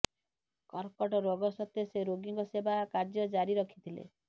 କର୍କଟ ରୋଗ ସତ୍ତ୍ବେ ସେ ରୋଗୀଙ୍କ ସେବା କାର୍ଯ୍ୟ ଜାରି ରଖିଥିଲେ